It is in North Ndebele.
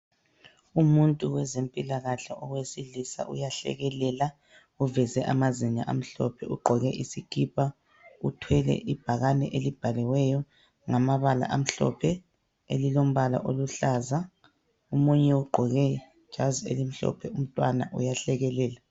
Umuntu wezempilakahle owesilisa uyahlekelela uveze amazinyo amhlophe ugqoke isikipa, uthwele ibhakane elibhaliweyo ngamabala amhlophe elilombala oluhlaza. Omunye ugqoke ijazi elimhlophe ngumntwana uyahlekelela.